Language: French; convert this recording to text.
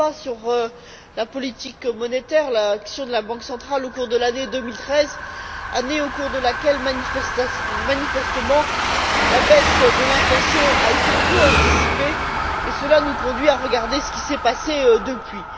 Zalba sur la politique monétaire et l'action de la Banque centrale au cours de l'année 2013, année au cours de laquelle, manifestement, la baisse de l'inflation a été peu anticipée, ce qui nous conduit à regarder ce qui s'est passé depuis.